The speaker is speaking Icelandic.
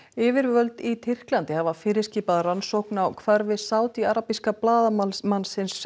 yfirvöld í Tyrklandi hafa fyrirskipað rannsókn á hvarfi Sádi arabíska blaðamannsins